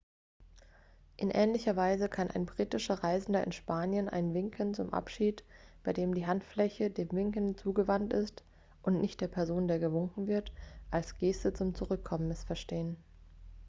in ähnlicher weise kann ein britischer reisender in spanien ein winken zum abschied bei dem die handfläche dem winkenden zugewandt ist und nicht der person der gewunken wird als geste zum zurückkommen missverstehen